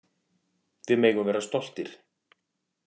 Við megum vera stoltir.